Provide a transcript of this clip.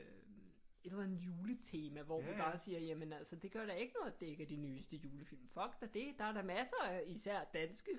Et eller andet juletema hvor vi bare siger jamen altså det gør da ikke noget at det ikke er de nyeste julefilm fuck da det der er da masser især danske